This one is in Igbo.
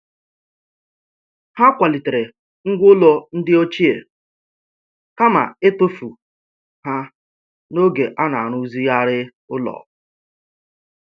Ha kwalitere ngwá ụlọ ndị ochie kama ịtụfu ha n'oge a na-arụzigharị ụlọ.